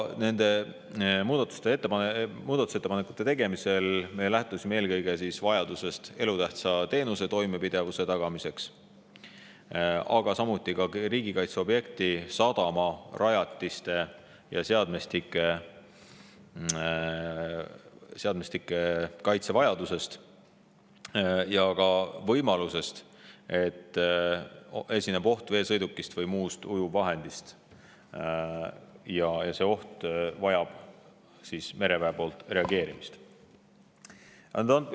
Nende muudatusettepanekute tegemisel me lähtusime eelkõige elutähtsa teenuse toimepidevuse tagamise vajadusest, samuti riigikaitseobjekti, sadamarajatiste ja seadmestike kaitse vajadusest ning ka võimalusest, et esineb oht veesõidukist või muust ujuvvahendist ja mereväel tuleb sellele reageerida.